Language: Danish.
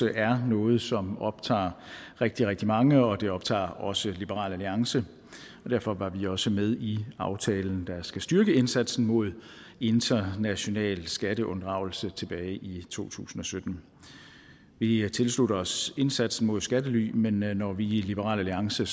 er noget som optager rigtig rigtig mange og det optager også liberal alliance og derfor var vi også med i aftalen der skal styrke indsatsen mod international skatteunddragelse tilbage i to tusind og sytten vi tilslutter os indsatsen mod skattely men når vi i liberal alliance